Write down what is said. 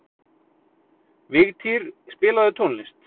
Vigtýr, spilaðu tónlist.